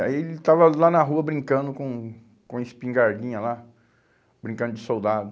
Aí ele estava lá na rua brincando com com a espingardinha lá, brincando de soldado.